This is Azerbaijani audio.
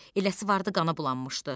Eləsi vardı qana bulanmışdı.